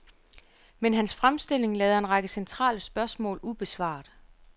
Men hans fremstilling lader en række centrale spørgsmål ubesvaret.